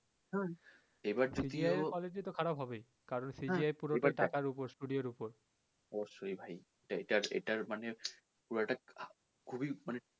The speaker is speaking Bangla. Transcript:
হম CGI এর quality তো খারাপ হবেই কারণ CGI পুড়টা টাকার ওপর ওপর